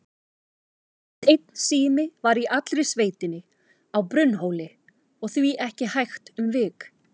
Aðeins einn sími var í allri sveitinni, á Brunnhóli, og því ekki hægt um vik.